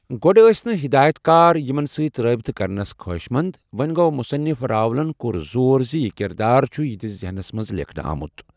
گۅڈٕ ٲسۍ نہٕ ہدایت کار یِمن ستۍ رٲبطٕ کرنس خوٲہشمند، وۅں گوٚو مصنف راولن کوٚر زور زِ یہِ کردار چھُ یہنٛدِس ذہنس منٛز لیکھنہٕ آمُت۔